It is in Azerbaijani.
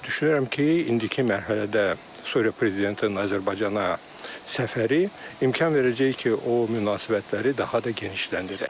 Düşünürəm ki, indiki mərhələdə Suriya prezidentinin Azərbaycana səfəri imkan verəcək ki, o münasibətləri daha da genişləndirək.